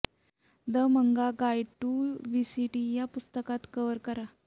the manga guide to वीसिटी या पुस्तकात कव्हर करा